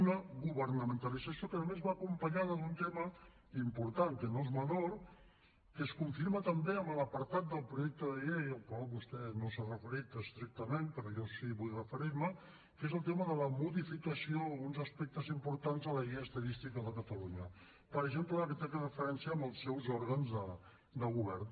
una governamentalització que a més va acompanyada d’un tema important que no és menor que es confirma també a l’apartat del projecte de llei al qual vostè no s’ha referit estrictament però jo sí que vull referir m’hi que és el tema de la modificació d’alguns aspectes importants a la llei d’estadística de catalunya per exemple la que té referència als seus òrgans de govern